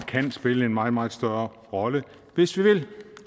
kan spille en meget meget større rolle hvis vi vil